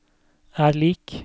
er lik